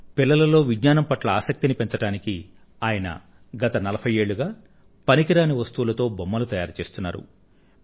పిల్లలలో విజ్ఞానం పట్ల ఆసక్తిని పెంచడానికి ఆయన గత నలభై ఏళ్ళుగా పనికిరాని వస్తువులతో బొమ్మలను తయారుచేస్తున్నారు